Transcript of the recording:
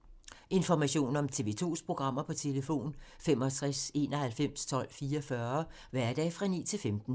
Information om TV 2's programmer: 65 91 12 44, hverdage 9-15.